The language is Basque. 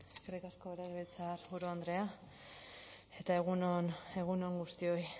eskerrik asko legebiltzarburu andrea eta egun on guztioi